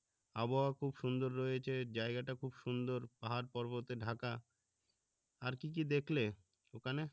আবহাওয়া খুব সুন্দর রয়েছে জায়গা টা খুব সুন্দর পাহার পর্বত ঢাকা আর কি কি দেখলে ওখানে?